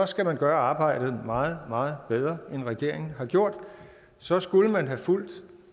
skal man gøre arbejdet meget meget bedre end regeringen har gjort så skulle man have fulgt